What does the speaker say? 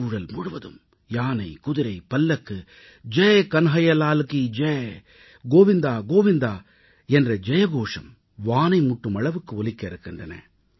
சூழல் முழுவதும் யானை குதிரை பல்லக்கு ஜெய் கன்ஹையாலால் கீ கோவிந்தாகோவிந்தா என்ற ஜயகோஷம் வானை முட்டும் அளவுக்கு ஒலிக்க இருக்கின்றன